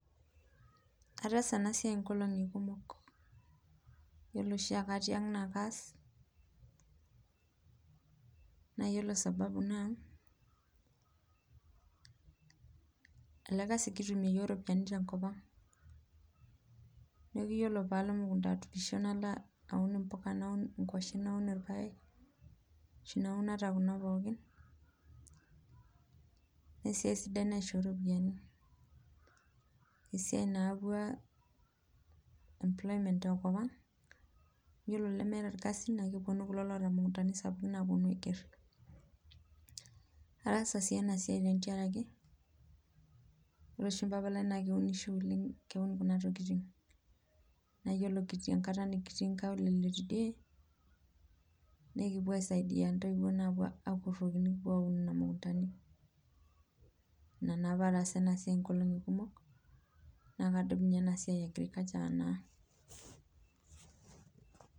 Ataasa enasiai inkolongi kumuk, iyiolo oshiake atii ang naa kaas .Naa iyiolo sababu naa ele kaasi kutumie iyiok iropiyiani tekop ang. Niaku iyiolo paalo emukunda aturisho naalo aun impuka, naun inkuashen , naun irpayiek ashu naun ata kunapookin naa esiai sidai maishoo iropiyiani, esiai nayaua cs employment tekop ang ,iyiolo lemetaa irkasin naa keponu kulo loota imukuundani sapukun aiger. Ataasa sii enasiai tengaraki wore oshi mpapa lai naa keunisho oleng ,keun kuna tokiting naa iyiolo kitii enkata nikitii inkaulele tidie naa ekipuo aaisaidia intoiwuo naa apuo akuroki nikipuo aun nena mukundani. Inaa naa paatasa enasiai inkolongi kumuk naa akudum enasiai eeagriculture naa .